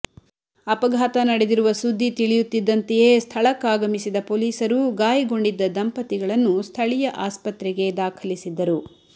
ಅಪಘಾತ ನಡೆದಿರುವ ಸುದ್ದಿ ತಿಳಿಯುತ್ತಿದ್ದಂತೆಯೇ ಸ್ಥಳಕ್ಕಾಗಮಿಸಿದ ಪೊಲೀಸರು ಗಾಯಗೊಂಡಿದ್ದ ದಂಪತಿಗಳನ್ನು ಸ್ಥಳೀಯ ಆಸ್ಪತ್ರೆಗೆ ದಾಖಲಿಸಿದ್ದರು